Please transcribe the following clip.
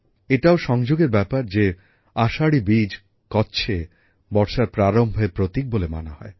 এটাও দারুণ ব্যাপার যে আষাঢ়ী বীজ কচ্ছে বর্ষার প্রারম্ভের প্রতীক বলে মানা হয়